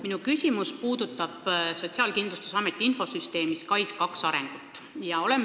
Minu küsimus puudutab Sotsiaalkindlustusameti infosüsteemi SKAIS2 arengut.